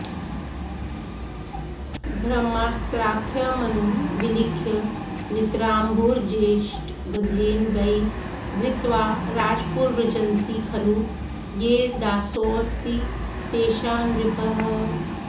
ब्रह्मास्त्राख्यमनुं विलिख्य नितराम्भूर्जेष्टगन्धेन वै धृत्वा राजपुरव्रजन्ति खलु ये दासोऽस्ति तेषान्नृपः